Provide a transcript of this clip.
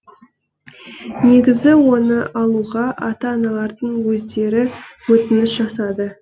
негізі оны алуға ата аналардың өздері өтініш жасады